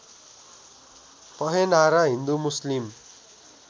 पहेनहारा हिन्दू मुस्लिम